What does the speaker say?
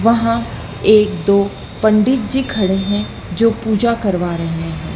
वहां एक दो पंडित जी खड़े हैं जो पूजा करवा रहे हैं।